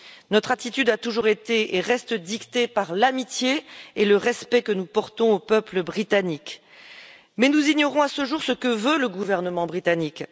Notre attitude a toujours été et reste dictée par l'amitié et le respect que nous portons au peuple britannique, mais nous ignorons à ce jour ce que veut le gouvernement britannique.